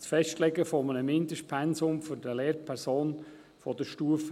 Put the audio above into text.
Das Festlegen eines Mindestpensums auf 35 Prozent für eine Lehrperson der Stufe